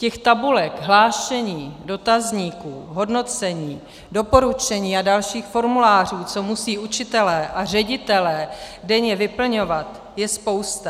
Těch tabulek, hlášení, dotazníků, hodnocení, doporučení a dalších formulářů, co musí učitelé a ředitelé denně vyplňovat, je spousta.